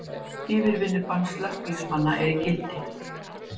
Yfirvinnubann slökkviliðsmanna er í gildi